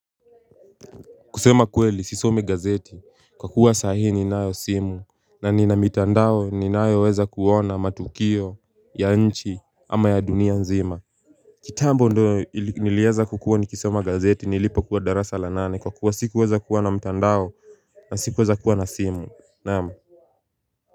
Kusema kweli sisomi gazeti kwa kuwa sahi ninayo simu na nina mitandao ninayo weza kuona matukio ya nchi ama ya dunia nzima kitambo ndo ili nilieza kukua nikisoma gazeti nilipokua darasa la nane kwa kuwa sikuweza kuwa na mtandao na sikueza kuwa na simu naam.